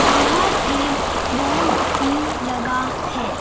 बाहर एक बोर्ड भी लगा है।